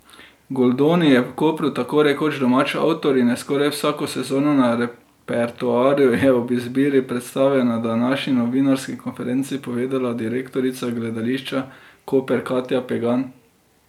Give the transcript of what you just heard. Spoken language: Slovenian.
Goldoni je v Kopru tako rekoč domač avtor in je skoraj vsako sezono na repertoarju, je o izbiri predstave na današnji novinarski konferenci povedala direktorica Gledališča Koper Katja Pegan.